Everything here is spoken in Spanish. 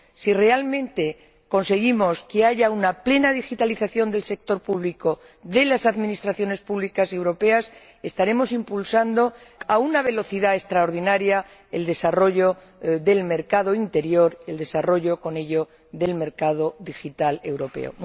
Si realmente conseguimos que haya una plena digitalización del sector público, de las administraciones públicas europeas, estaremos impulsando a una velocidad extraordinaria el desarrollo del mercado interior y, con ello, del mercado digital europeo.